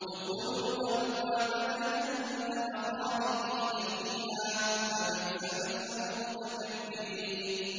ادْخُلُوا أَبْوَابَ جَهَنَّمَ خَالِدِينَ فِيهَا ۖ فَبِئْسَ مَثْوَى الْمُتَكَبِّرِينَ